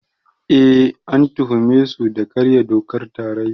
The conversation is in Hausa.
Eh, an tuhume su da karya dokar tarayya.